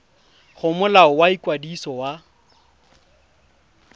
go molao wa ikwadiso wa